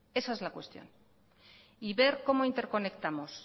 esa es la cuestión y ver cómo interconectamos